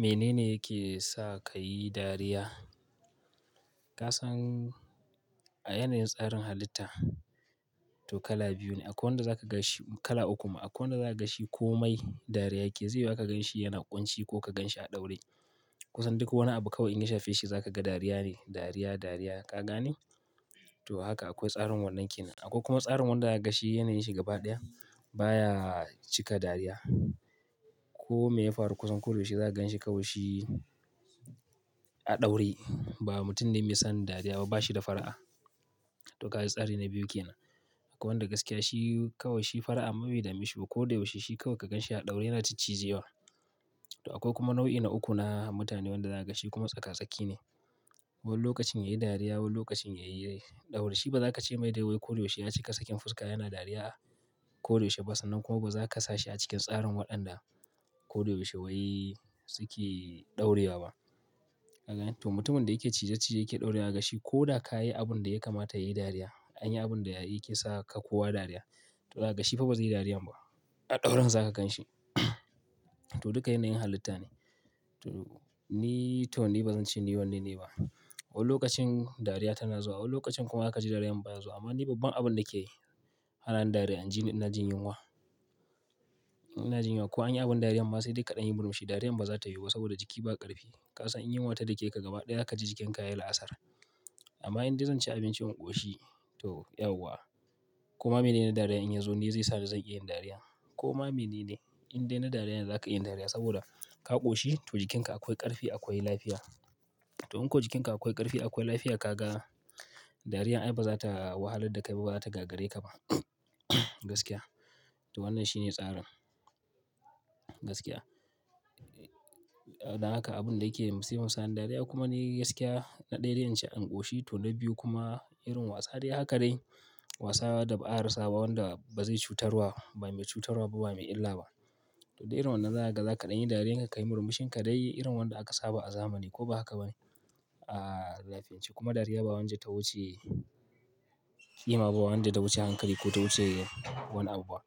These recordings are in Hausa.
Menene yake sa ka yi dariya? Ka san a yanayin tsarin halitta to kala biyu ne. Akwai wanda za ka ga shi, kala uku ma. Akwai wanda za ka ga shi komai dariya yake, zai yi wuya ka gan shi yana ƙunci ko ka gan shi a ɗaure. Kusan duk wani abu kawai in ka shafe shi za ka ga dariya ne, dariya, dariya, ka gane? To haka akwai tsarin wannan kinan. Akwai kuma tsarin wanda za ga shi yanayin shi gaba ɗaya baya cika dariya. Ko me ya faru kusan kodayaushe za ka gan shi kawai shi a ɗaure, ba mutum ne mai san dariya ba, ba shi da fara'a. To ka ga tsari ne biyu ke nan. Akwai wanda gaskiya shi kawai shi fara'a ma bai da meshiba ko da yaushe. Shi kawai ka gan shi a ɗaure yana ciccije wa. To akwai kuma nau'i na uku na mutane wanda za ka ga shi kuma tsaka-tsakiya ne. Wani lokacin ya yi dariya, wani lokacin ya yi ɗaure. Shi ba za ka ce mai dai wai koyaushe ya cika sakin fuska yana dariya koyaushe ba sannan kuma ba za ka sa shi a cikin tsarin waɗanda kodayaushe wai suke ɗaurewa ba. Ka gane? To mutumin da yake cije cije yake ɗaure wa ga shi ko da ka yi abun da ya kamata yayi dariya, an yi abun da ya yake sa ka kowa dariya. To za ka ga shi fa ba zai yi dariyan ba. A ɗauren za ka gan shi. To duka yanayin halitta ne. To ni taw ni ba zan ce ni wanne ne ba. Wani lokacin dariya tana zuwa, wani lokacin kuma ka ji dariya baya zuwa. Amma ni babban abun da key hana ni dariya, in ji ni ina jin yunwa. Ina jin yunwa ko an yi abin dariya ma sai da kaɗan yin murmushi. Dariyan ba za ta yiwu ba saboda jiki ba ƙarfi. Kasan in yinwa ta da ke ka gaba ɗaya zaka ji jikinka yayi la'asar. Amma in dai zan ci abinci, in ƙoshi to yauwa. Ko ma mene ne dariya in yazo ni zai sa ni zan iya yin dariyan. Ko ma mene ne indai na dariya ne za ka iya yin dariya? Saboda ka ƙoshi to jikinka akwai ƙarfi, akwai lafiya. To in ko jikinka akwai ƙarfi, akwai lafiya, ka ga dariyar ai ba za ta wahalar da kai ba, ba za ta gagare ka ba. Gaskiya. To wannan shi ne tsarin. Gaskiya. Dan haka abun da yake musifar sa ni dariya kuma ni gaskiya na ɗaya dai inci in ƙoshi to na biyu kuma irin wasa dai haka dai. Wasa da ba a rasa ba wanda ba zai cutarwa ba, bai mai cutarwa ba, ba mai illa ba. To dai irin wannan za ka ga, za kaɗan yin dariya, ka yi murmushi ka dai yi irin wanda aka saba a zamani ko ba haka ba ne? A laifiyance kuma dariya ba wanda ta wuce ƙima ba, bawanda ta wuce hankali ko ta wuce wani abu ba.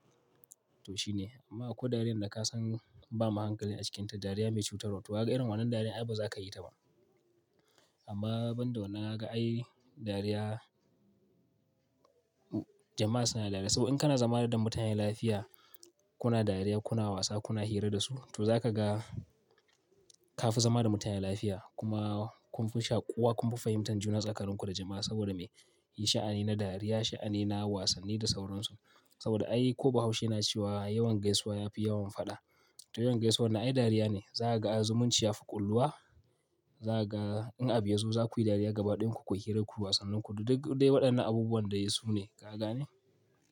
To shine. Amma akwai dariyar da ka san ba ma hankali a cikinta, dariya mai cutarwa. To ka ga irin wannan dariyar ai ba za ka yi ta ba. Amma ban da wannan ka ga ai dariya, jama'a suna da dariya. Saboda in kana zama da mutanen lafiya, kuna dariya, kuna wasa, kuna hira da su. To za ka ga ka fi zama da mutanen lafiya kuma kun fi shaƙuwa, kun fi fahimtar juna tsakanin ku da jama'a saboda me? Yi sha'ani na dariya, sha'ani na wasanni da sauransu. Saboda ai ko bahaushe na cewa yawan gaisuwa ya fi yawan faɗa. To yawan gaisuwan nan ai dariya ne. Za ka ga ai zumunci ya fi ƙulluwa. Za ka ga in abi yazo za ku yi dariya ga ba ɗin ku, kuyi hira kuyi wasannin ku du dai waɗannan abubuwan daisune, ka gane?